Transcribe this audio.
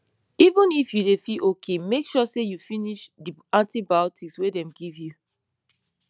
even if you dey feel okay make sure say you finish the antibiotics wey dem give you